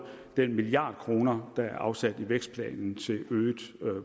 den milliard kroner der er afsat i vækstplanen til øget